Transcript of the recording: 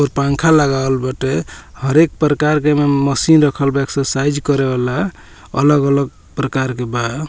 और पंखा लगावल बाटे हर एक प्रकार के में मशीन रखल बा एक्सरसाइज करे वाला अलग-अलग प्रकार के बा।